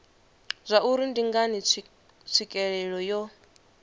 zwauri ndi ngani tswikelelo yo